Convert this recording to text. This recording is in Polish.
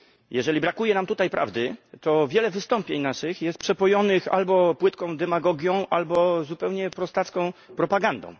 Jeżeli brakuje nam tutaj prawdy, to wiele wystąpień naszych jest przepojonych albo płytką demagogią, albo zupełnie prostacką propagandą.